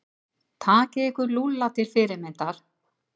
Takið ykkur Lúlla til fyrirmyndar.